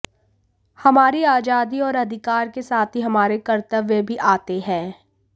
हमारी आजादी और अधिकार के साथ ही हमारे कर्तव्य भी आते हैं